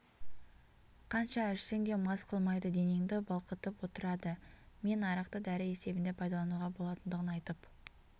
қанша ішсең де мас қылмайды денеңді балқытып отырады мен арақты дәрі есебінде пайдалануға болатындығын айтып